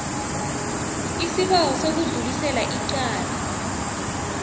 isibawo sokudlulisela icala